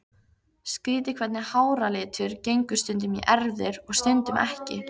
Skrýtið hvernig háralitur gengur stundum í erfðir og stundum ekki.